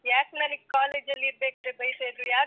ಯಾಕ್ ನಾನೀಗ್ college ಅಲ್ಲಿ ಇರ್ಬೇಕಾದ್ರೆ ಬೈತಾ ಇದ್ರು ಯಾಕ್.